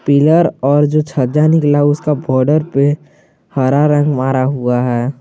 Pillar और जो छज्जा निकला उसका बॉर्डर पे हरा रंग मरा हुआ है।